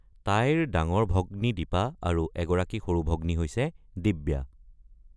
তাইৰ ডাঙৰ ভগ্নী দীপা আৰু এগৰাকী সৰু ভগ্নী হৈছে দিব্যা।